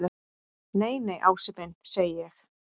Nei, nei, Ási minn segi ég.